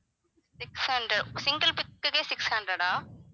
six hundred single pic க்குகே six hundred ஆ